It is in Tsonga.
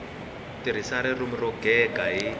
tirhisa ririmi ro gega hi